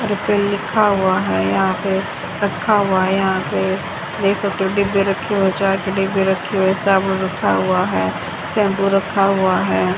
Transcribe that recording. लिखा हुआ है यहां पे रखा हुआ है यहा पे देख सकते हो डिब्बे रखे हुए जार के डिब्बे रखे हुए साबुन रखा हुआ है शैंपू रखा हुआ है।